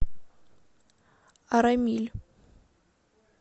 арамиль